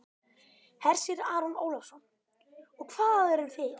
Hersir Aron Ólafsson: Og hvað eruð þið?